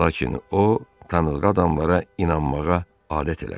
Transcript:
Lakin o tanımadığı adamlara inanmağa adət eləmişdi.